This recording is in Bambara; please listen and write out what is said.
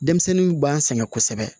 Denmisɛnninw b'an sɛgɛn kosɛbɛ